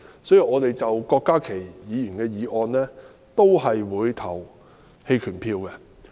所以，就郭家麒議員的修正案，我們也會投棄權票。